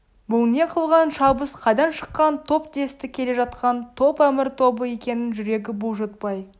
бұл не қылған шабыс қайдан шыққан топ десті келе жатқан топ әмір тобы екенін жүрегі бұлжытпай